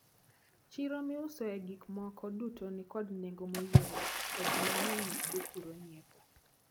Chiro miusoe gikmoko duto nikod nengo moyweyo to ji mang`eny dhi kuro nyiepo.